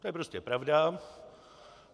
To je prostě pravda.